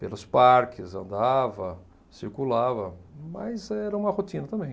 pelos parques, andava, circulava, mas era uma rotina também.